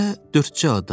Evdə dördcə adam.